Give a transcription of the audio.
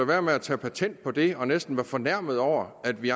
være med at tage patent på det og næsten være fornærmet over at vi